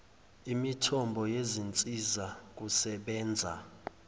imithombo yezinsiza kusebenza